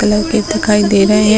Colour के दिखाई दे रहे हैं ।